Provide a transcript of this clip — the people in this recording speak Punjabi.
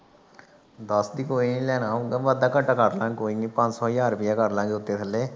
ਦੱਸਦੀ ਕੋਈ ਨਹੀ। ਲੈਣਾ ਹੁੰਦਾ ਵਾਧਾ ਘਾਟਾ ਕਰ ਲਾਂ ਗੇ ਕੋਈ ਨਹੀ ਪੰਜ ਸੌ ਹਜ਼ਾਰ ਰੁਪਈਆ ਕਰਾਂ ਲਾ ਗੇ ਉੱਤੇ ਥੱਲੇ